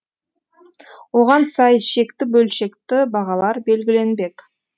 оған сай шекті бөлшекті бағалар белгіленбек